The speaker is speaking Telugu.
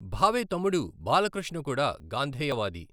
భావే తమ్ముడు బాలకృష్ణ కూడా గాంధేయవాది.